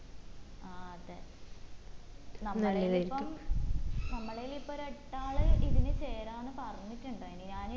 ആ അതെ നമ്മളേല് ഇപ്പം നമ്മളേല് ഇപ്പം ഒരെട്ടാള് ഇതില് ചേരാന്ന് പറഞ്ഞിട്ടുണ്ടായിന്